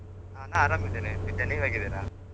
ಹ ನಾ ಆರಾಮ್ ಇದ್ದೇನೆ ವಿದ್ಯಾ, ನೀವ್ ಹೇಗಿದ್ದೀರ?